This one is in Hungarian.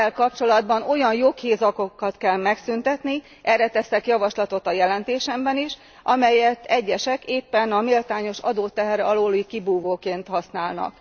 Ezzel kapcsolatban olyan joghézagokat kell megszüntetni, erre teszek javaslatot a jelentésemben is, amelyeket egyesek éppen a méltányos adóteher alóli kibúvóként használnak.